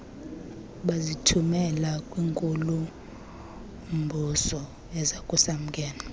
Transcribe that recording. bazithumela kwinkulu mbusoezakusamkela